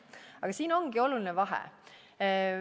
Aga siin ongi oluline vahe.